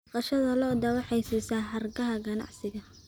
Dhaqashada lo'du waxay siisaa hargaha ganacsiga.